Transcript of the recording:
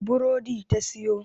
Burodi ta sayo.